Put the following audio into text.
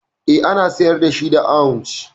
Eh, ana sayar da shi da ounce